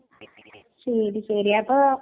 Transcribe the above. ആ പഞ്ചസാര വച്ച് കഴിച്ചു